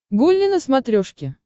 гулли на смотрешке